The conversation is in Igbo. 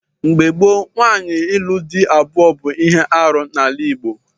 Mgbe gboo, nwaanyị ịlụ di abụọ bụ ihe arụ n'ala Igbo.